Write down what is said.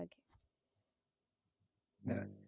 আহ